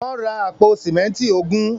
Wọ́n ra àpò símẹ́ńtì ogún.